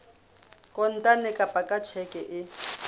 kontane kapa ka tjheke e